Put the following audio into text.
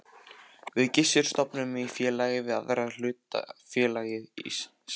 Við Gissur stofnuðum í félagi við aðra hlutafélagið Sæborg.